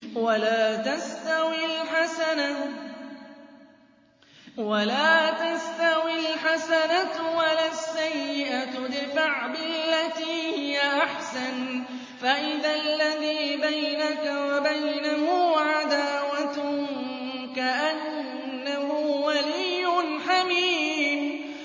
وَلَا تَسْتَوِي الْحَسَنَةُ وَلَا السَّيِّئَةُ ۚ ادْفَعْ بِالَّتِي هِيَ أَحْسَنُ فَإِذَا الَّذِي بَيْنَكَ وَبَيْنَهُ عَدَاوَةٌ كَأَنَّهُ وَلِيٌّ حَمِيمٌ